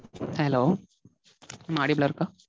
Hello mam audible ஆ இருக்கா?